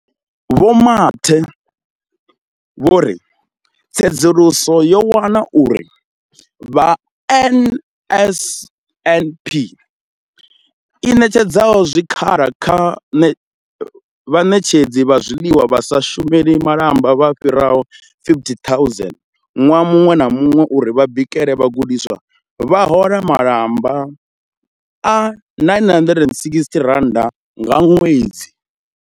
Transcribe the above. Vho Mathe vho ri tsedzuluso yo wana uri vha NSNP i ṋetshedza zwikhala kha vhaṋetshedzi vha zwiḽiwa vha sa shumeli malamba vha fhiraho 50 000 ṅwaha muṅwe na muṅwe uri vha bikele vhagudiswa, vha hola malamba a R960 nga ṅwedzi.